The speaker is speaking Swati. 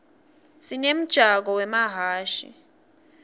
sinemjako wemahhashi